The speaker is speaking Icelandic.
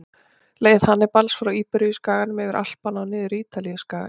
Leið Hannibals frá Íberíuskaganum, yfir Alpana og niður Ítalíuskagann.